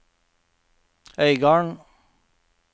Øygarden